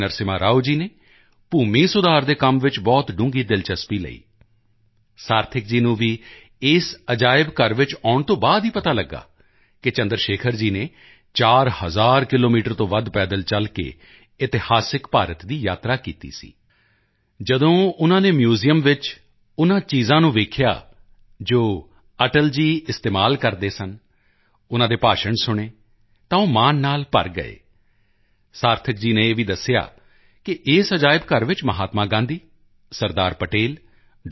ਨਰਸਿਮਹਾ ਰਾਓ ਜੀ ਨੇ ਭੂਮੀ ਸੁਧਾਰ ਦੇ ਕੰਮ ਵਿੱਚ ਬਹੁਤ ਡੂੰਘੀ ਦਿਲਚਸਪੀ ਲਈ ਸਾਰਥਕ ਜੀ ਨੂੰ ਵੀ ਇਸ ਮਿਊਜ਼ੀਅਮ ਵਿੱਚ ਆਉਣ ਤੋਂ ਬਾਅਦ ਹੀ ਪਤਾ ਲੱਗਾ ਕਿ ਚੰਦਰਸ਼ੇਖਰ ਜੀ ਨੇ 4 ਹਜ਼ਾਰ ਕਿਲੋਮੀਟਰ ਤੋਂ ਵੱਧ ਪੈਦਲ ਚਲ ਕੇ ਇਤਿਹਾਸਿਕ ਭਾਰਤ ਦੀ ਯਾਤਰਾ ਕੀਤੀ ਸੀ ਜਦੋਂ ਉਨ੍ਹਾਂ ਨੇ ਮਿਊਜ਼ੀਅਮ ਵਿੱਚ ਉਨ੍ਹਾਂ ਚੀਜ਼ਾਂ ਨੂੰ ਦੇਖਿਆ ਜੋ ਅਟਲ ਜੀ ਇਸਤੇਮਾਲ ਕਰਦੇ ਸਨ ਉਨ੍ਹਾਂ ਦੇ ਭਾਸ਼ਣ ਸੁਣੇ ਤਾਂ ਉਹ ਮਾਣ ਨਾਲ ਭਰ ਗਏ ਸਾਰਥਕ ਜੀ ਨੇ ਇਹ ਵੀ ਦੱਸਿਆ ਕਿ ਇਸ ਮਿਊਜ਼ੀਅਮ ਵਿੱਚ ਮਹਾਤਮਾ ਗਾਂਧੀ ਸਰਦਾਰ ਪਟੇਲ ਡਾ